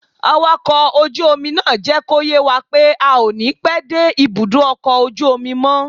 Awakọ̀ ojú omi náà jẹ́ kó yé wa pé a ò ní pẹ́ dé ibùdó ọkọ̀ ojú omi mọ́